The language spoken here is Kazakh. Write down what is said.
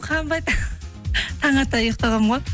қанбайды таң ата ұйықтағанмын ғой